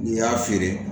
N'i y'a feere